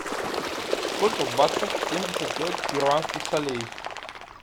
сколько в баксах семьдесят пять перуанских солей